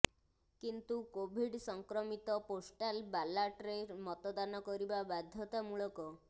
କିନ୍ତୁ କୋଭିଡ୍ ସଂକ୍ରମିତ ପୋଷ୍ଟାଲ ବାଲାଟରେ ମତଦାନ କରିବା ବାଧ୍ୟତାମୂଳକ